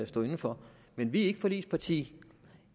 stå inde for men vi er ikke forligsparti